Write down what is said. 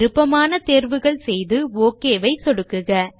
விருப்பமான தேர்வுகள் செய்து ஒக் ஐ சொடுக்குக